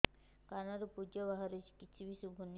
କାନରୁ ପୂଜ ବାହାରୁଛି କିଛି ଶୁଭୁନି